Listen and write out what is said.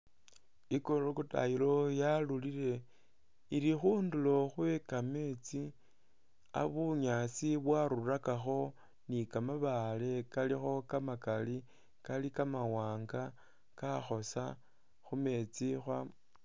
I crocodile yarulile ili khudulo khwekameetsi bunyasi bwarulakakho ni kamabaale kalikho kamakali kalo kamawanga kakhosa khumeetsi